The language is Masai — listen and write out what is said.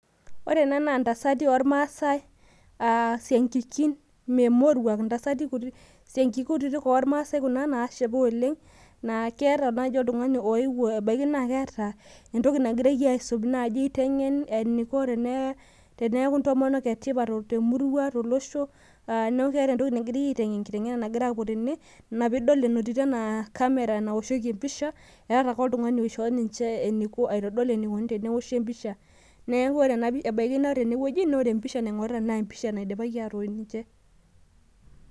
ore ena naa intasati oormaa sai aasiankikin memoruak intasati kutitik oo maasai naasipa oleng' ebaki naaji naa keeta oltung'ani oyewuo , neeta entoki naigira aiteng'en teeneeku intomonok etipat tolosho , neeku keeta entoki nagirai aiteng'en naa inaa pee etooshoki empisha ,neeku ebaki naa empisha ingorita naidipaki atoosh.